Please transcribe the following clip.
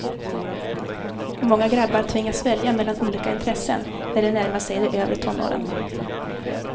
Många grabbar tvingas välja mellan olika intressen när de närmar sig de övre tonåren.